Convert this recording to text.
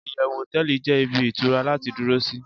iyewu hoteeli je ibi itura lati duro si